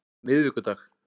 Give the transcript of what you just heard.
miðvikudag